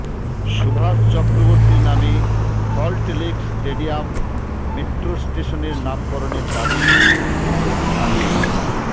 সুভাষ চক্রবর্তীর নামে Salt Lake stadium metro স্টেশনের নামকরণের দাবি এসএফআইয়ের